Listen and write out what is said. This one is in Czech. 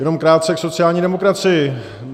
Jenom krátce k sociální demokracii.